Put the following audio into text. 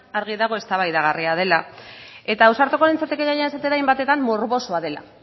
argi dago eztabaidagarria dela eta ausartuko nintzateke gainera esatera hainbatetan morbosoa dela